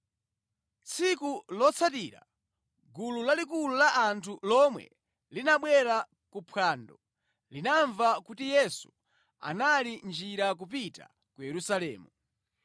Tsiku lotsatira, gulu lalikulu la anthu lomwe linabwera kuphwando linamva kuti Yesu anali mʼnjira kupita ku Yerusalemu.